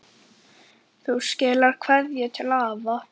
Vonandi rætist það einn daginn.